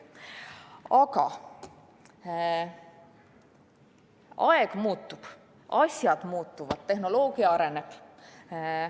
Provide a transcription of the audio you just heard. Aga aeg muutub, asjad muutuvad, tehnoloogia areneb.